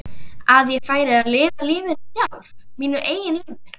Að ég færi að lifa lífinu sjálf, mínu eigin lífi?